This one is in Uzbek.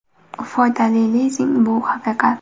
Foydali lizing bu haqiqat!.